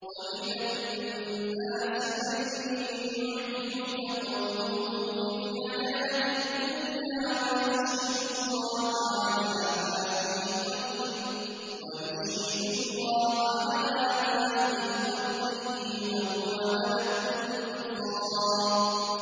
وَمِنَ النَّاسِ مَن يُعْجِبُكَ قَوْلُهُ فِي الْحَيَاةِ الدُّنْيَا وَيُشْهِدُ اللَّهَ عَلَىٰ مَا فِي قَلْبِهِ وَهُوَ أَلَدُّ الْخِصَامِ